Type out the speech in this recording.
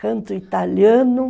Canto italiano.